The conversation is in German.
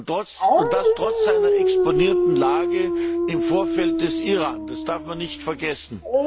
Und das trotz seiner exponierten Lage im Vorfeld des Iran, das darf man nicht vergessen.